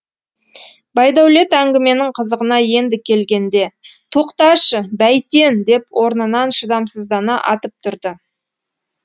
байдәулет әңгіменің қызығына енді келгенде тоқташы бәйтен деп орнынан шыдамсыздана атып тұрды